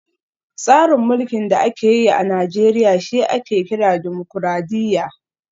Tsarin mulkin da ake yi a Najeriya shi ake kira Dimokuradiyya